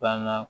Banna